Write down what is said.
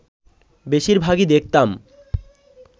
বেশির ভাগই দেখতাম